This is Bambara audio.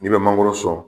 N'i bɛ mangoro sɔn